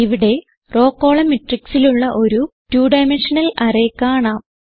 ഇവിടെ row column matrixലുള്ള ഒരു 2 ഡൈമെൻഷണൽ അറേ കാണാം